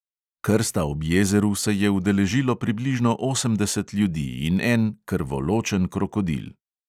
Krsta ob jezeru se je udeležilo približno osemdeset ljudi in en krvoločen krokodil.